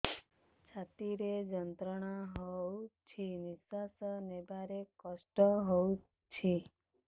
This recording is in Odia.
ଛାତି ରେ ଯନ୍ତ୍ରଣା ହଉଛି ନିଶ୍ୱାସ ନେବାରେ କଷ୍ଟ ହଉଛି